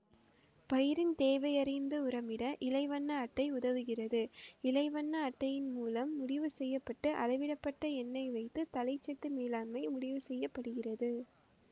பயிரின் தேவையறிந்து உரமிட இலை வண்ண அட்டை உதவுகிறது இலை வண்ண அட்டையின் மூலம் முடிவு செய்ய பட்டு அளவிடப்பட்ட எண்ணை வைத்து தழைச்சத்து மேலாண்மை முடிவுசெய்யப்படுகிறது